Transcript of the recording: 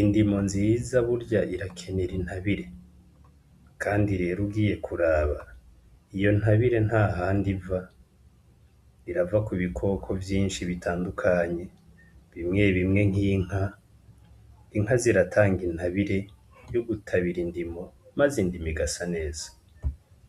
indimo nziza burya irakenera intabire kandi rero ugiye kuraba iyo ntabire ntahandi iva, irava ku bikoko vyinshi bitandukanye bimwe bimwe nk'inka. Inka ziratanga intabire yo gutabira indimo, maze indimo igasa neza.